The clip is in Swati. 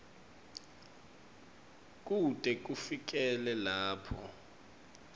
kute kufikele lapho